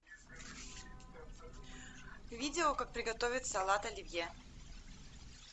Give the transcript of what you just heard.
видео как приготовить салат оливье